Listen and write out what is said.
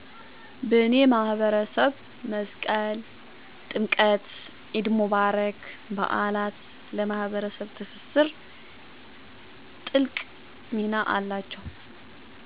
" በኔ ማህበረሰብ መስቀል፣ ጥምቀት፣ ኢድ ሙባረክ በዓላት ለማህበረሰብ ትስስር ትልቅ ሚና አላቸዉ።"